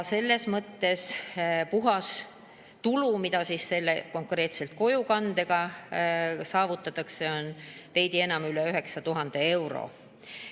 Selles mõttes on puhastulu, mis konkreetselt kojukande puhul saavutatakse, veidi üle 9000 euro.